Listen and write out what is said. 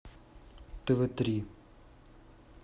тв три